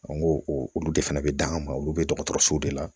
An ko olu de fana bɛ dan an ma olu bɛ dɔgɔtɔrɔsow de la